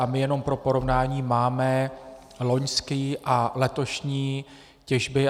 A my jenom pro porovnání máme loňskou a letošní těžbu.